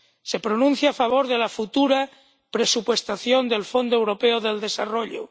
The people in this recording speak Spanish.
Se pronuncia a favor de la futura presupuestación del Fondo Europeo de Desarrollo